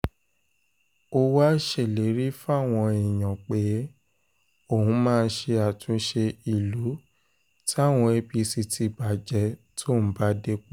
ó wáá ṣèlérí fáwọn èèyàn pé òun máa ṣe àtúnṣe ìlú táwọn apc ti bàjẹ́ tóun bá dépò